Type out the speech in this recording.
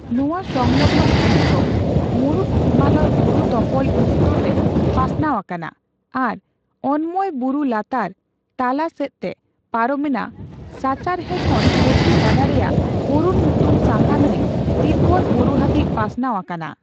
ᱱᱚᱣᱟ ᱥᱚᱝᱞᱚᱜᱱ ᱜᱷᱟᱹᱴᱤ ᱠᱚ ᱢᱩᱬᱩᱛ ᱦᱤᱢᱟᱞᱚᱭ ᱵᱩᱨᱩᱛᱚᱯᱚᱞ ᱩᱛᱛᱚᱨ ᱨᱮ ᱯᱟᱥᱱᱟᱣ ᱟᱠᱟᱱᱟ ᱟᱨ ᱚᱜᱢᱭᱚ ᱵᱩᱨᱩ ᱞᱟᱛᱟᱨ ᱛᱟᱞᱟ ᱥᱮᱫ ᱛᱮ ᱯᱟᱨᱚᱢ ᱮᱱᱟ ᱥᱟᱪᱟᱨᱦᱮᱸ ᱠᱷᱚᱱ ᱠᱚᱥᱤ ᱜᱟᱰᱟ ᱨᱮᱭᱟᱜ ᱚᱨᱩᱱ ᱧᱩᱛᱩᱢ ᱥᱟᱸᱜᱷᱟ ᱱᱟᱹᱭ ᱛᱤᱵᱵᱚᱛ ᱵᱩᱨᱩ ᱦᱟᱹᱵᱤᱡ ᱯᱟᱥᱱᱟᱣ ᱟᱠᱟᱱᱟ᱾